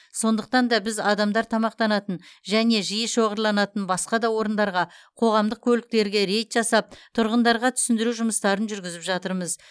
сондықтан да біз адамдар тамақтанатын және жиі шоғырланатын басқа да орындарға қоғамдық көліктерге рейд жасап тұрғындарға түсіндіру жұмыстарын жүргізіп жатырмыз